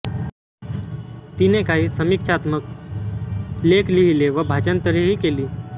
तिने काही समीक्षात्मक लेख लिहिले व भाषांतरेही केली